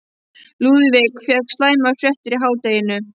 Lúðvík fékk slæmar fréttir í hádeginu.